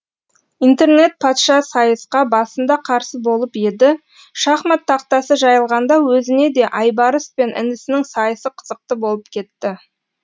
интернет патша сайысқа басында қарсы болып еді шахмат тақтасы жайылғанда өзіне де айбарыс пен інісінің сайысы қызықты болып кетті